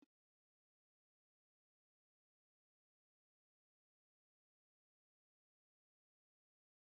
An haɗa da gatari, shebur, tarkace, da sauran kayan aikin gini masu mahimmanci.